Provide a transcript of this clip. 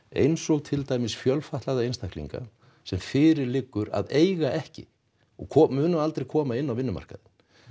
eins og til dæmis fjölfatlaða einstaklinga sem fyrir liggur að eiga ekki að koma inn á vinnumarkaðinn